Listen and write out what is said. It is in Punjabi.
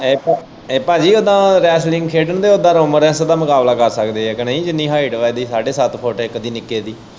ਏ ਏਹ ਭਾਜੀ ਉਦਾਂ ਰੈਸਲਿੰਗ ਖੇਡਣ ਦੇ ਉਦਾਂ ਰੋਮਾ ਰੈੱਸ਼ ਦਾ ਮੁਕਾਬਲਾ ਕਰ ਸਕਦੇ ਐ ਕਿ ਨਈ? ਜਿੰਨੀ ਹਾਇਟ ਵਾ ਸਾਡੇ ਸੱਤ ਫੁੱਟ ਇੱਕ ਦੀ ਨਿੱਕੇ ਦੀ।